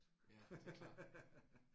Ja det er klart